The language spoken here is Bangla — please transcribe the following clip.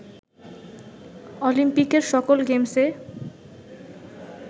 অলিম্পিকের সকল গেমসে